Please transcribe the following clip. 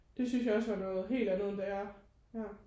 Det synes jeg også var noget helt andet end da jeg ja